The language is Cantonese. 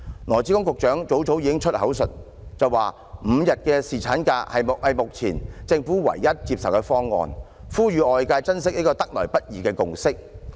羅致光局長早已宣之於口，指5天侍產假是目前政府唯一接受的方案，呼籲外界珍惜這個得來不易的共識。